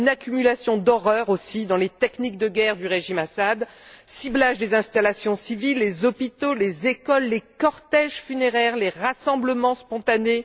Une accumulation d'horreurs aussi dans les techniques de guerre du régime d'Assad ciblage des installations civiles les hôpitaux, les écoles des cortèges funéraires, des rassemblements spontanés.